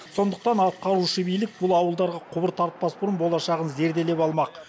сондықтан атқарушы билік бұл ауылдарға құбыр тартпас бұрын болашағын зерделеп алмақ